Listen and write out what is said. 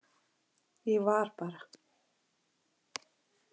Ég var bara.